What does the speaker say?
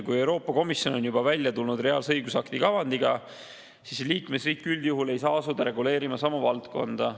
Kui Euroopa Komisjon on välja tulnud reaalse õigusakti kavandiga, siis liikmesriik üldjuhul ei saa asuda reguleerima sama valdkonda.